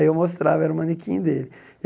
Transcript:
Aí eu mostrava, era o manequim dele.